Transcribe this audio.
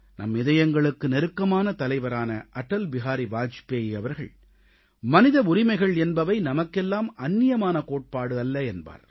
நம் இதயங்களுக்கு நெருக்கமான தலைவரான அடல் பிஹாரி வாஜ்பாய் அவர்கள் மனித உரிமைகள் என்பவை நமக்கெல்லாம் அந்நியமான கோட்பாடு அல்ல என்பார்